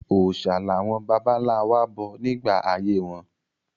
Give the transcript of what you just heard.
Òòṣà làwọn bàbá-ńlá wa bọ nígbà ayé wọn.